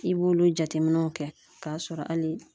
I b'olu jateminɛw kɛ k'a sɔrɔ hali